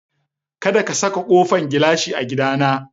Kadaka ka sa ƙofan gilashi a gida na!